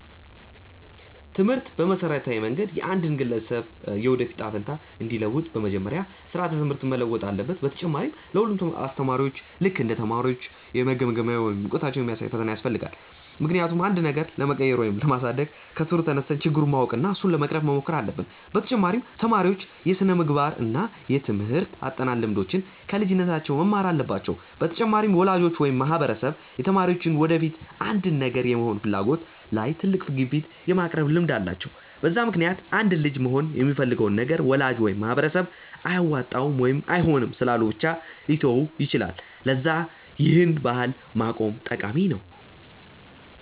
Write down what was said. ትምህርት በመሠረታዊ መንገድ የአንድን ግለሰብ የወደፊት እጣ ፈንታ እንዲለውጥ፤ በመጀመሪያ ስራዓተ ትምህርት መለወጥ አለበት፣ በተጨማሪ ለ ሁሉም አስተማሪዎች ልክ እንደ ተማሪዎች የመገምገሚያ ወይም እውቀታቸውን የሚያሳይ ፈተና ያስፈልጋል፤ ምክንያቱም አንድን ነገር ለመቀየር ወይም ለማሳደግ ከስሩ ተነስተን ችግሩን ማወቅ እና እሱን ለመቅረፍ መሞከር አለብን፤ በተጨማሪ ተማሪዎች የስነምግባር እና የትምርህት አጠናን ልምዶችን ከልጅነታቸው መማር አለባቸው፤ በመጨረሻም ወላጆች ወይም ማህበረሰብ የተማሪዎች የወደፊት አንድን ነገር የመሆን ፍላጎት ላይ ትልቅ ግፊት የማቅረብ ልምድ አላቸው፤ በዛ ምክንያትም አንድ ልጅ መሆን የሚፈልገውን ነገር ወላጅ ወይም ማህበረሰብ አያዋጣም ወይም አይሆንም ስላሉ ብቻ ሊተወው ይችላል፤ ለዛ ይህን ባህል ማቆም ጠቃሚ ነው።